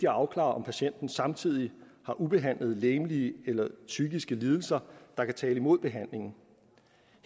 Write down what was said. afklare om patienten samtidig har ubehandlede legemlige eller psykiske lidelser der kan tale imod behandlingen